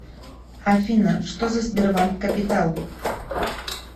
афина что за сбербанк капитал